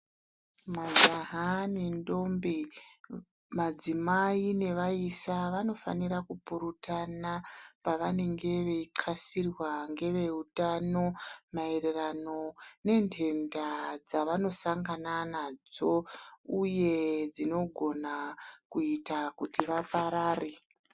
Majaha nendombi, madzimai nevaisa vanofanira kupurutana pavanenge veithxasirwa ngeveutano maererano nenhenta dzavanosangana nadzo uye dzinogona kuita kuti vaparare.